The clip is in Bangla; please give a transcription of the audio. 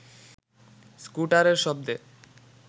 স্কুটারের শব্দে